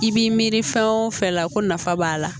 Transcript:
I b'i miiri fɛn o fɛn la ko nafa b'a la